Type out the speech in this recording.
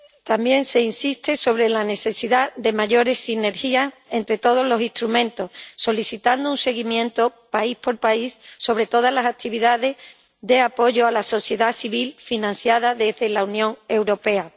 También se insiste en la necesidad de mayores sinergias entre todos los instrumentos, solicitando un seguimiento, país por país, de todas las actividades de apoyo a la sociedad civil financiadas por la Unión Europea.